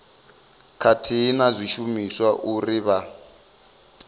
khathihi na zwishumiswa uri vha